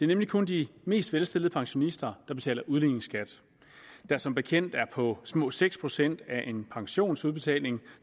nemlig kun de mest velstillede pensionister der betaler udligningsskat der som bekendt er på små seks procent af en pensionsudbetaling